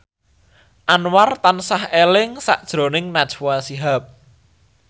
Anwar tansah eling sakjroning Najwa Shihab